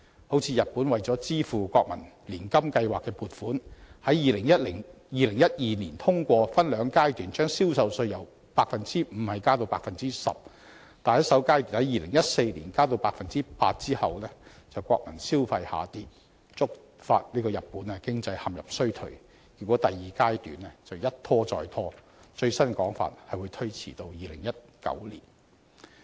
好像日本為了支付國民年金計劃的撥款，在2012年通過分兩階段把銷售稅由 5% 加到 10%， 但在首階段2014年把銷售稅增加到 8% 後，國民消費就下跌，觸發日本經濟陷入衰退，結果第二階段的實施時間一拖再拖，最新的說法是會推遲至2019年。